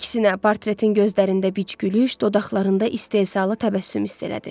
Əksinə, portretin gözlərində bic gülüş, dodaqlarında istehzalı təbəssüm hiss elədi.